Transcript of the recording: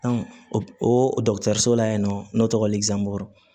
o dɔgɔtɔrɔso la yen nɔ ne tɔgɔ bɔrɔ